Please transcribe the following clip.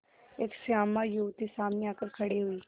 एक श्यामा युवती सामने आकर खड़ी हुई